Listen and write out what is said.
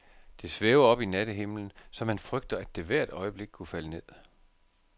Det svæver oppe i nattehimlen, så man frygter, at det hvert øjeblik kunne falde ned.